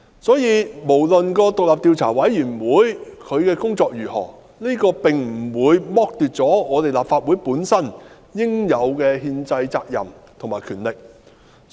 因此，不論有關獨立調查委員會的工作如何，這並不會剝奪立法會應有的憲制責任和權力。